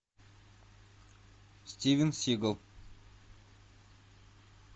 стивен сигал